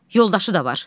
Yoldaşı da var.